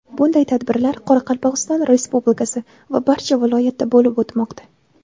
Bunday tadbirlar Qoraqalpog‘iston Respublikasi va barcha viloyatda bo‘lib o‘tmoqda.